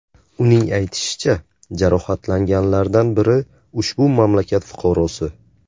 Uning aytishicha, jarohatlanganlardan biri ushbu mamlakat fuqarosi.